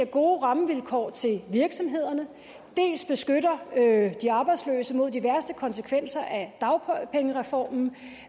gode rammevilkår til virksomhederne dels beskytter de arbejdsløse mod de værste konsekvenser af dagpengereformen